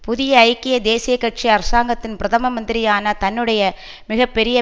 புதிய ஐக்கிய தேசிய கட்சி அரசாங்கத்தின் பிரதம மந்திரியான தன்னுடைய மிக பெரிய